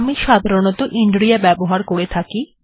আমি সাধারণতঃ ইন্রিয়া ব্যবহার করে থাকি